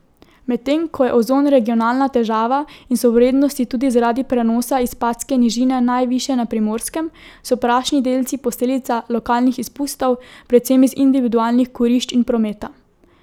Medtem ko je ozon regionalna težava in so vrednosti tudi zaradi prenosa iz Padske nižine najvišje na Primorskem, so prašni delci posledica lokalnih izpustov, predvsem iz individualnih kurišč in prometa.